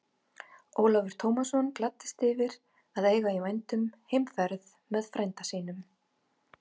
Ólafur Tómasson gladdist yfir að eiga í vændum heimferð með frænda sínum.